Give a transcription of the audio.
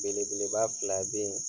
Belebeleba fila be yen